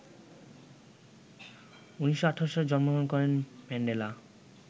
১৯১৮ সালে জন্মগ্রহণ করেন ম্যান্ডেলা